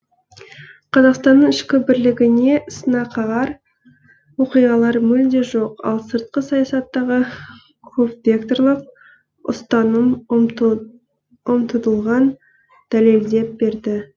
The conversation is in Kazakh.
қазақстанның ішкі бірлігіне сынақағар оқиғалар мүлде жоқ ал сыртқы саясаттағы көпвекторлық ұстаным ұмтыдылған дәлелдеп берді